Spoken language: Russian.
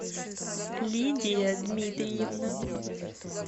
лидия дмитриевна